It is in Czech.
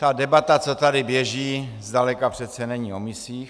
Ta debata, co tady běží, zdaleka přece není o misích.